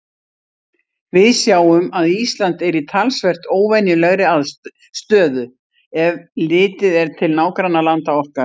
Við sjáum að Ísland er í talsvert óvenjulegri stöðu, ef litið er til nágrannalanda okkar.